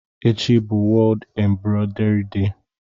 Echi bụ World Embroidery Day.